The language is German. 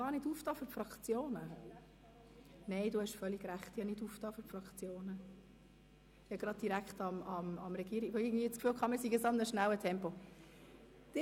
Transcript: Ich habe den Fraktionen nicht das Wort erteilt, sondern direkt dem Regierungsrat, weil ich das Gefühl hatte, wir seien in einem schnellen Tempo unterwegs.